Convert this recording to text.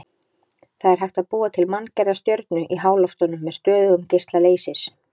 Það er hægt að búa til manngerða stjörnu í háloftunum með stöðugum geisla leysis.